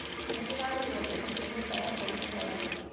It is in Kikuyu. Nĩ ndĩrarĩhire mbeca cia nyũmba yakwa mũthenya wa ira.